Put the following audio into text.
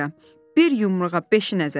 Bir yumruğa beşi nəzərəm.